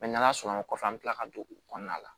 n'ala sɔnn'a kɔfɛ an bɛ tila ka don o kɔnɔna la